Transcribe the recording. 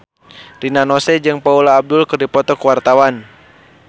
Rina Nose jeung Paula Abdul keur dipoto ku wartawan